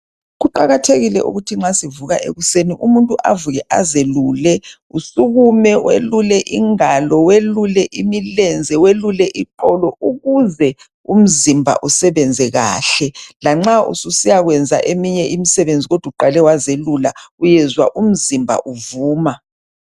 Kuqakathekile ukuthi ma sivuka ekuseni umuntu avuke azelule. Usukume welule ingalo, welule imilenze, welule iqolo ukuze umzimba usebenze kahle, lanxa ususiya kwenza eminye imisebenzi kodwa uqale wazelula uyezwa umzimba uvuma.